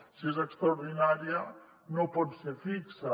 si és extraordinària no pot ser fixa